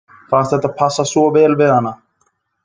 Fannst þetta passa svo vel við hana.